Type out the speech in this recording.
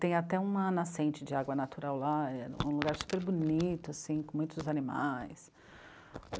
Tem até uma nascente de água natural lá, um lugar super bonito, assim, com muitos animais.